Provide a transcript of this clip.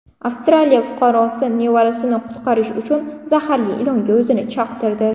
Avstraliya fuqarosi nevarasini qutqarish uchun zaharli ilonga o‘zini chaqtirdi.